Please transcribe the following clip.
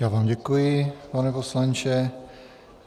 Já vám děkuji, pane poslanče.